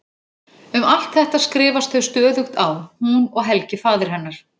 Um allt þetta skrifast þau stöðugt á hún og Helgi faðir hennar.